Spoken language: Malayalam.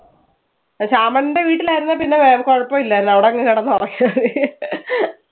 അഹ് ശ്യാമളന്റെ വീട്ടിൽ ആയിരുന്നേ പിന്നെ വേ കുഴപ്പം ഇല്ലാരുന്നു. അവിടെ അങ്ങ് കിടന്ന് ഉറങ്ങിയാ മതി